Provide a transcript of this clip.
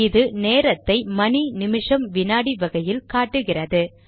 இது நேரத்தை மணி நிமிஷம் வினாடி வகையில் காட்டுகிறது